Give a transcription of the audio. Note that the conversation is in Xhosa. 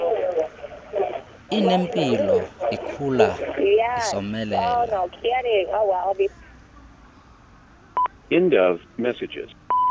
inempilo ikhula isomelela